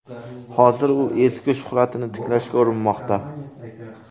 Hozir u eski shuhratini tiklashga urinmoqda.